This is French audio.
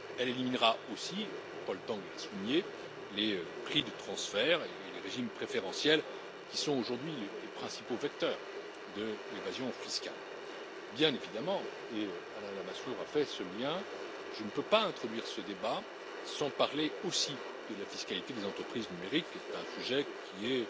Elle éliminera aussi Paul Tang l'a souligné les prix de transfert et les régimes préférentiels qui sont aujourd'hui les principaux vecteurs de l'évasion fiscale. Bien évidemment et Alain Lamassoure a fait ce lien je ne peux pas introduire ce débat sans parler aussi de la fiscalité des entreprises numériques, sujet qui est